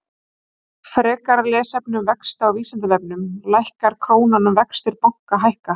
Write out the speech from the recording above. Frekara lesefni um vexti á Vísindavefnum: Lækkar krónan ef vextir banka hækka?